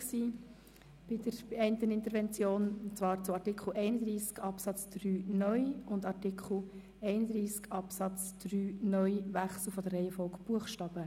Dies betrifft Artikel 31 Absatz 3 (neu) sowie den Wechsel der Reihenfolge der Buchstaben.